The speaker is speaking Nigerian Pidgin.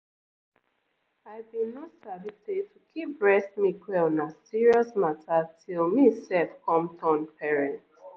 you sabi say say[um]many hospital dem dey teach person for free ehm about how to dey keep breast milk well.